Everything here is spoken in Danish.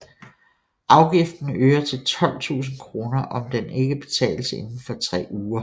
Afgiften øger til 12 000 kr om den ikke betales inden for tre uger